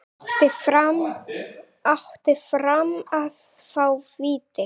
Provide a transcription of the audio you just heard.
Átti Fram að fá víti?